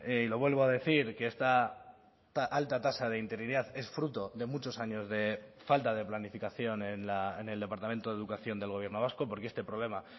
y lo vuelvo a decir que esta alta tasa de interinidad es fruto de muchos años de falta de planificación en el departamento de educación del gobierno vasco porque este problema